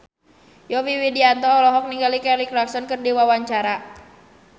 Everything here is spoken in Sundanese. Yovie Widianto olohok ningali Kelly Clarkson keur diwawancara